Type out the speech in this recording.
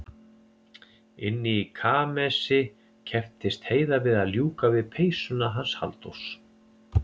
Inni í kamersi kepptist Heiða við að ljúka við peysuna hans Halldórs.